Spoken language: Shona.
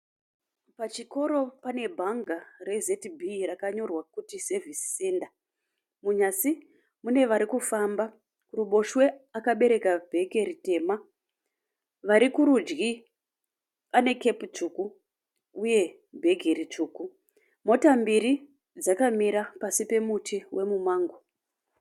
Pachikóro pane bhanga re ZB rakanyorwa kuti sevhisi senda. Munyasi mune varikufamba kuruboshwe akabereka bheke ritema. Vari kurudyi ane kepi tsvuku uye bhegi ritsvuku. Mota mbiri dzakamira pasi pemumango.